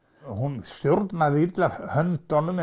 hún stjórnaði illa höndunum